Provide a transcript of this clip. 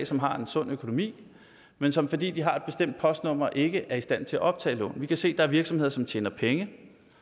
som har en sund økonomi men som fordi de har et bestemt postnummer ikke er i stand til at optage lån og vi kan se at der er virksomheder som tjener penge